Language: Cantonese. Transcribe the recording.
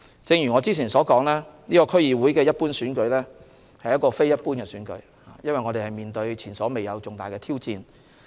正如我之前所說，這次區議會一般選舉其實是非一般的選舉，因為我們面對前所未有的重大挑戰。